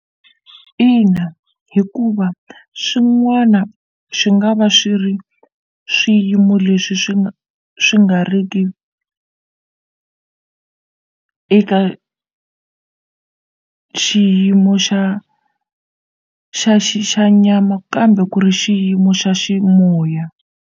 Ina hikuva swin'wana swi nga va swi ri swiyimo leswi swi swi nga ri ki eka xiyimo xa xa nyama kambe ku ri xiyimo xa ximoya.